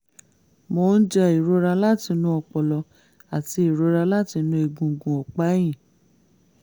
mò ń jẹ ìrora láti inú ọpọlọ àti ìrora láti inú egungun ọ̀pá ẹ̀yìn